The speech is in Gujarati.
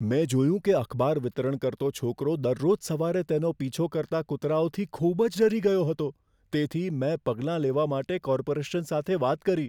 મેં જોયું કે અખબાર વિતરણ કરતો છોકરો દરરોજ સવારે તેનો પીછો કરતા કૂતરાઓથી ખૂબ જ ડરી ગયો હતો. તેથી, મેં પગલાં લેવા માટે કોર્પોરેશન સાથે વાત કરી.